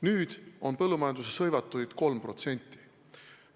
Nüüd on põllumajanduses hõivatuid 3%.